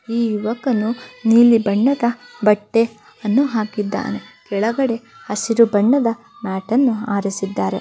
ಈ ಯುವಕನು ನೀಲಿ ಬಣ್ಣದ ಬಟ್ಟೆಯನ್ನು ಹಾಕಿದ್ದಾನೆ ಕೆಳಗಡೆ ಹಸಿರು ಬಣ್ಣದ ಮ್ಯಾಟ್ಅನ್ನು ಹಾರಿಸಿದ್ದಾರೆ.